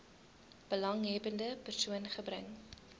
belanghebbende persoon gebring